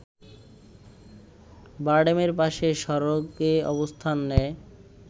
বারডেমের পাশে সড়কে অবস্থান নেয়